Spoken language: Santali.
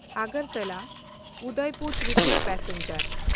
ᱟᱜᱚᱨᱛᱚᱞᱟᱼᱩᱫᱚᱭᱯᱩᱨ ᱛᱨᱤᱯᱩᱨᱟ ᱯᱮᱥᱮᱧᱡᱟᱨ